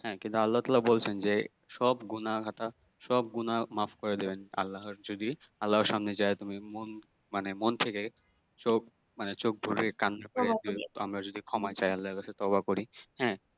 হ্যাঁ কিন্তু আল্লাহতালা বলছেন যে সব গুনাহ সব গুনাহ মাফ করে দেবেন আল্লাহ যদি আল্লাহ এর সামনে যায়ে তুমি মন মানে মন থেকে চোখ মানে চোখ ধরে কান ধরে আমরা যদি ক্ষমা চাই আল্লাহর কাছে তবা করি হ্যাঁ